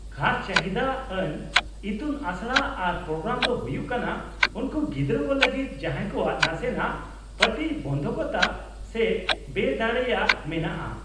-ᱠᱷᱟᱥ ᱪᱟᱹᱦᱤᱫᱟ ᱟᱱ ᱤᱛᱩᱱ ᱟᱥᱲᱟ ᱟᱨ ᱯᱨᱳᱜᱨᱟᱢ ᱫᱚ ᱦᱩᱭᱩᱜ ᱠᱟᱱᱟ ᱩᱱᱠᱩ ᱜᱤᱫᱽᱨᱟᱹ ᱠᱚ ᱞᱟᱹᱜᱤᱫ ᱡᱟᱦᱟᱸᱭ ᱠᱚᱣᱟᱜ ᱱᱟᱥᱮᱱᱟᱜ ᱯᱨᱚᱛᱤᱵᱚᱱᱫᱷᱚᱠᱚᱛᱟ ᱥᱮ ᱵᱮᱫᱟᱲᱮᱭᱟᱜ ᱢᱮᱱᱟᱜᱼᱟ ᱾